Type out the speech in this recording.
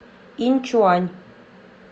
иньчуань